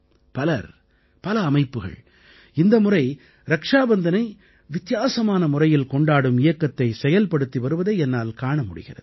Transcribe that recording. பலர் பல அமைப்புகள் இந்த முறை ரக்ஷாபந்தனை வித்தியாசமான முறையில் கொண்டாடும் இயக்கத்தை செயல்படுத்தி வருவதை என்னால் காண முடிகிறது